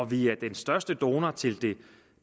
vi er den største donor til det